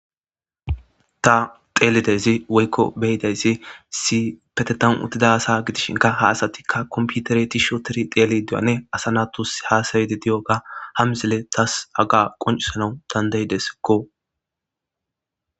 ta xelidaysi woykko beyidaydi issipetetan uttida asa gidishinka ha asatikka komputere tishotifi xelid diyoganne asa natus hasayidi diyoga ha misiley tas haga qoncisanaw dandayidesiko.